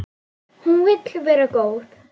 Hún vill vera góð.